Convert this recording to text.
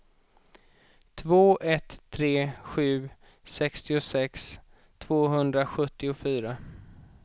två ett tre sju sextiosex tvåhundrasjuttiofyra